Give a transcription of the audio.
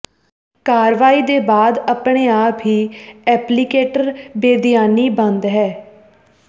ਕਾਰਵਾਈ ਦੇ ਬਾਅਦ ਆਪਣੇ ਆਪ ਹੀ ਐਪਲੀਕੇਟਰ ਬੇਧਿਆਨੀ ਬੰਦ ਹੈ